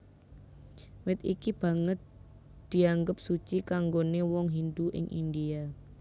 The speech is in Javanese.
Wit iki banget dianggep suci kanggoné wong Hindu ing India